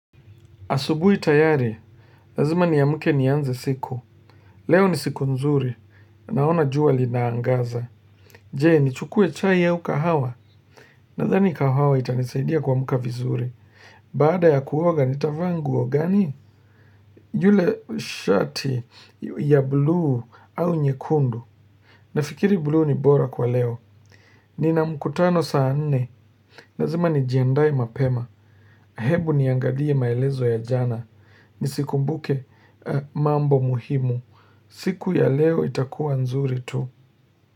Asubuhi tayari, lazima niamke nianze siku. Leo ni siku nzuri, naona jua linaangaza. Je, nichukue chai au kahawa, nadhani kahawa itanisaidia kuamka vizuri. Baada ya kuoga, nitavaa nguo gani? Yule shati ya bluu au nyekundu. Nafikiri bluu ni bora kwa leo. Nina mkutano saa nne, lazima nijiandae mapema. Hebu niangalie maelezo ya jana. Nisikumbuke mambo muhimu. Siku ya leo itakuwa nzuri tu.